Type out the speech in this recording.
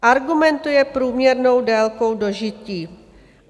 Argumentujete průměrnou délkou dožití.